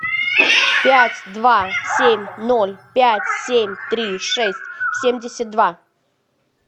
пять два семь ноль пять семь три шесть семьдесят два